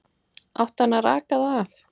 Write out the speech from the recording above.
Átti hann að raka það af?